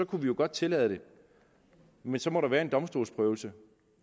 kunne vi jo godt tillade det men så må der være en domstolsprøvelse